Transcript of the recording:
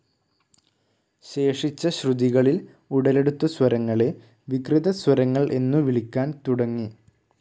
ശേഷിച്ച ശ്രുതികളിൽ ഉടലെടുത്ത സ്വരങ്ങളെ വികൃതസ്വരങ്ങൾ എന്നു വിളിക്കാൻ തുടങ്ങി.